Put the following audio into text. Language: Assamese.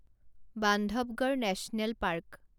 Bandhavgarh national park